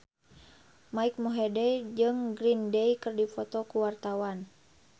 Mike Mohede jeung Green Day keur dipoto ku wartawan